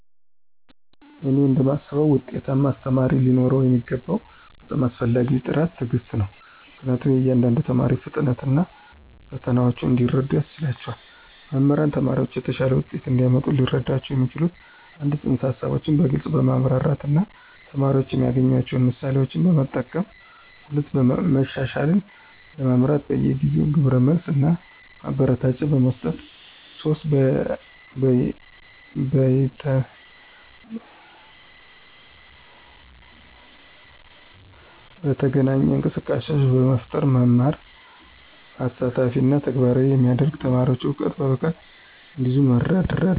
እኔ እንደማስበው ውጤታማ አስተማሪ ሊኖረው የሚገባው በጣም አስፈላጊው ጥራት ትዕግስት ነው, ምክንያቱም የእያንዳንዱን ተማሪ ፍጥነት እና ፈተናዎች እንዲረዱ ያስችላቸዋል. መምህራን ተማሪዎችን የተሻለ ውጤት እንዲያመጡ ሊረዷቸው የሚችሉት - 1) ፅንሰ-ሀሳቦችን በግልፅ በማብራራት እና ተማሪዎች የሚያገናኟቸውን ምሳሌዎችን በመጠቀም፣ 2) መሻሻልን ለመምራት በየጊዜው ግብረ መልስ እና ማበረታቻ በመስጠት፣ እና 3) በይነተገናኝ እንቅስቃሴዎችን በመፍጠር መማርን አሳታፊ እና ተግባራዊ የሚያደርግ፣ ተማሪዎች እውቀትን በብቃት እንዲይዙ በመርዳት።